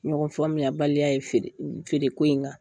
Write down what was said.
Ɲɔgɔn faamuya baliya ye feere feere ko in